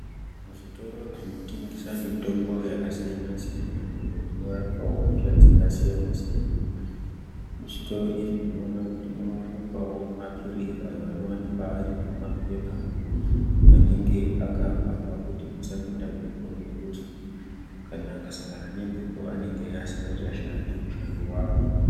Zvitoro zvinotengesa mitombo yakasiyana siyana iyo inorapawo hosha dzakasiyana siyana. Muzvitoro izvi tinoona kuti munowanikwawo maphirizi ayo anowanikwa ari mumapepa anenge akavharwa kuti musapinda mhepo nekuti kana akasangana nembepo anenge asinga chashandi mushando wawo.